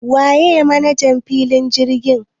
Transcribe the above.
Waye manajan filin jirgin?